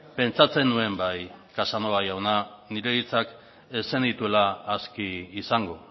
pentsatzen nuen bai casanova jauna nire hitzak ez zenituela aski izango